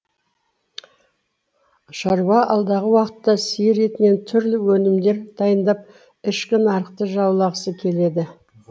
шаруа алдағы уақытта сиыр етінен түрлі өнімдер дайындап ішкі нарықты жаулағысы келеді